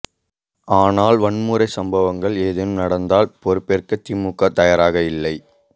ஆனால் வன்முறை சம்பவங்கள் ஏதேனும் நடந்தால் பொறுப்பேற்க திமுக தயாராக இல்லை